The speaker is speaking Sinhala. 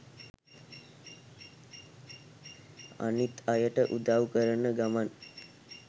අනිත් අයට උදව් කරන ගමන්